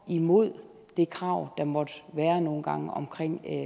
imod det krav der måtte være nogle gange om